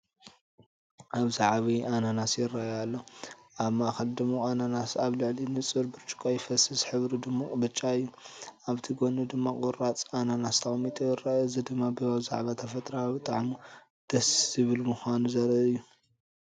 ኣብዚ ዓቢይ ኣናናስ ይራኣይ ኣሎ። ኣብ ማእከል ጽማቝ ኣናናስ ኣብ ልዕሊ ንጹር ብርጭቆ ይፈስስ፣ ሕብሩ ድሙቕ ብጫ እዩ። ኣብቲ ጎኑ ድማ ቁራጽ ኣናናስ ተቀሚጡ ይርአ። እዚ ድማ ብዛዕባ ተፈጥሮኣዊ ጣዕሙ ደስ ዝብል ምኳኑ ዘርኢ እዩ።